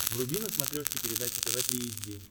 вруби на смотрешке передачу тв три эйч ди